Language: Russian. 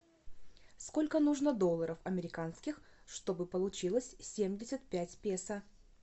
сколько нужно долларов американских чтобы получилось семьдесят пять песо